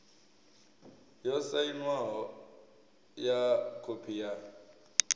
yo sainwaho ya khophi ya